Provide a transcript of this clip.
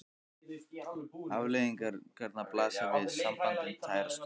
Afleiðingarnar blasa við: sambandið tærist upp.